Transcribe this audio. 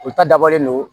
U ta dabɔlen don